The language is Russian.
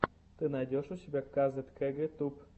ты найдешь у себя казет кэгэ туб